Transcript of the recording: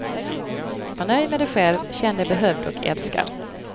Var nöjd med dig själv, känn dig behövd och älskad.